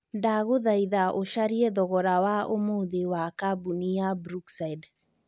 ndagũthaĩtha ũcarĩe thogora wa ũmũthi wa cambũni ya brookside